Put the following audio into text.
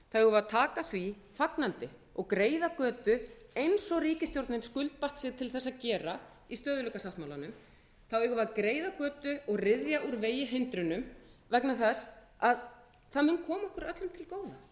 að taka því fagnandi og greiða götu eins og ríkisstjórnin skuldbatt sig til þess að gera í stöðugleikasáttmálanum þá eigum við að greiða götu og ryðja úr vegi hindrunum vegna þess að það mun koma okkur öllum til góða það mun koma þeim sextán hundruð